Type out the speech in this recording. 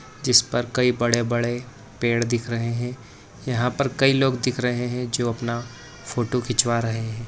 जिसपर कई बड़े-बड़े पेड़ दिख रहे हैं यहाँ पर कई लोग दिख रहें हैं जो अपना फोटो खिंचवा रहे हैं।